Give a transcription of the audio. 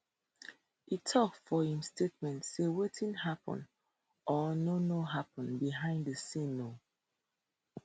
e tok for im statement say wetin happun or no no happun behind di scenes no